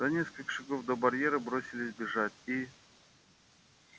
за несколько шагов до барьера бросились бежать и